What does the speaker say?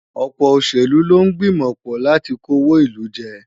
Ọ̀pọ̀ òṣèlú ló ń gbìmọ̀ pọ̀ láti kówó ìlú jẹ.